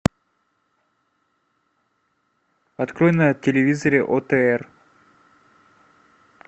открой на телевизоре отр